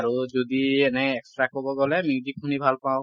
আৰু যদি এনেই extra কব গলে music শুনি ভাল পাওঁ ।